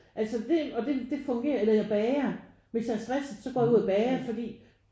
Altså det og det det fungerer eller jeg bager. Hvis jeg er stresset så går jeg ud og bager fordi